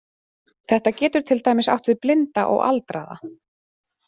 Þetta getur til dæmis átt við blinda og aldraða.